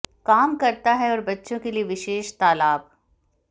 काम करता है और बच्चों के लिए विशेष तालाब